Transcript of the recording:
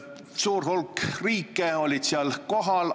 Suur hulk riike oli seal kohal.